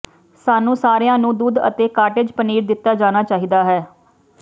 ਸਾਨੂੰ ਸਾਰਿਆਂ ਨੂੰ ਦੁੱਧ ਅਤੇ ਕਾਟੇਜ ਪਨੀਰ ਦਿੱਤਾ ਜਾਣਾ ਚਾਹੀਦਾ ਹੈ